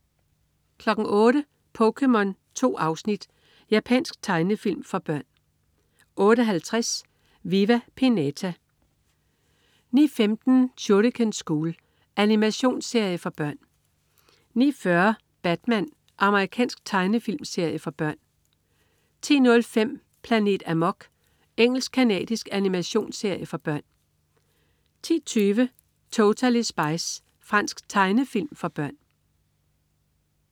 08.00 POKéMON. 2 afsnit. Japansk tegnefilm for børn 08.50 Viva Pinata 09.15 Shuriken School. Animationsserie for børn 09.40 Batman. Amerikansk tegnefilmserie for børn 10.05 Planet Amok. Engelsk-canadisk animationsserie for børn 10.20 Totally Spies. Fransk tegnefilm for børn